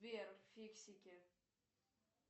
сбер фиксики